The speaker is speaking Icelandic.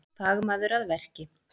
Fagmaður að verki